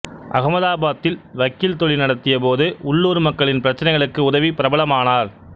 அகமதாபாத்தில் வக்கீல் தொழில் நடத்தியபோது உள்ளூர் மக்களின் பிரச்சினைகளுக்கு உதவி பிரபலமானார்